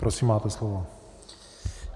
Prosím, máte slovo.